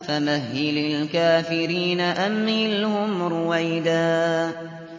فَمَهِّلِ الْكَافِرِينَ أَمْهِلْهُمْ رُوَيْدًا